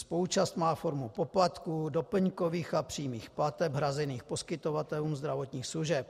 Spoluúčast má formu poplatků, doplňkových a přímých plateb hrazených poskytovatelům zdravotních služeb.